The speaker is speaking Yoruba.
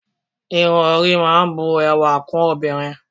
Irun orí máa ń bu ẹwà kún obìnrin